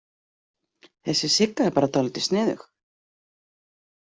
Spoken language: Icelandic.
Þessi Sigga er bara dálítið sniðug.